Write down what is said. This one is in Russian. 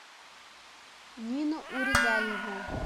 нина урегаева